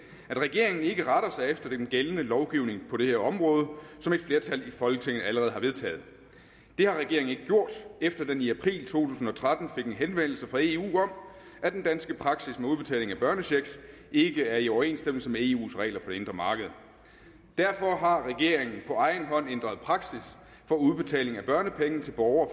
at regeringen ikke retter sig efter den gældende lovgivning på det her område som et flertal i folketinget allerede har vedtaget det har regeringen ikke gjort efter den i april to tusind og tretten fik en henvendelse fra eu om at den danske praksis med udbetaling af børnechecks ikke er i overensstemmelse med i eus regler for det indre marked derfor har regeringen på egen hånd ændret praksis for udbetaling af børnepenge til borgere